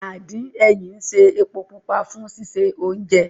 Àdín ẹyìn ń ṣe epo pupa fún sísè oúnjẹ